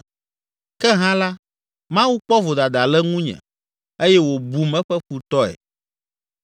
Ke hã la, Mawu kpɔ vodada le ŋunye, eye wòbum eƒe futɔe.